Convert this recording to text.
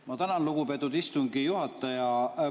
Ma tänan, lugupeetud istungi juhataja!